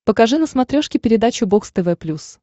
покажи на смотрешке передачу бокс тв плюс